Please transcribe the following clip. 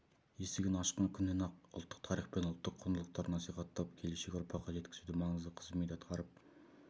есігін ашқан күннен-ақ ұлттық тарих пен ұлттық құндылықтарды насихаттап келешек ұрпаққа жеткізуде маңызды қызмет атқарып